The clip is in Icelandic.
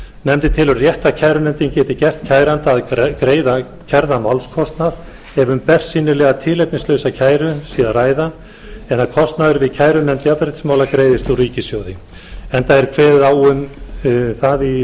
nefndin telur rétt að kærunefndin geti gert kæranda að greiða kærða málskostnað ef um bersýnilega tilefnislausa kæru sé að ræða en að kostnaður við kærunefnd jafnréttismála greiðist úr ríkissjóði enda er kveðið á um í